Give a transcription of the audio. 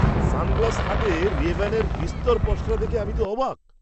Sunglass হাটে রেব্যানের বিস্তর পসরা দেখে তো আমি অবাক!